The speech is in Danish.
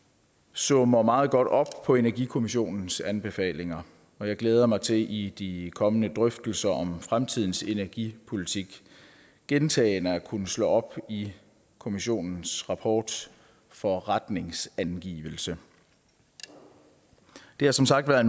summer meget godt op på energikommissionens anbefalinger og jeg glæder mig til i de kommende drøftelser om fremtidens energipolitik gentagende at kunne slå op i kommissionens rapport for retningsangivelse det har som sagt været